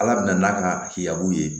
Ala bɛn n'a ka hiyabu ye